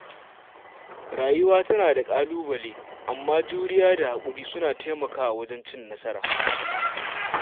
Rayuwa tana da ƙalubale, amma juriya da haƙuri suna taimakawa wajen cin nasara.